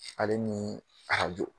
Ale ni arajo.